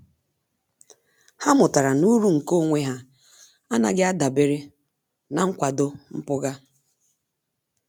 Há mụ́tàrà na uru nke onwe ha ánàghị́ ádàbèré na nkwado mpụga.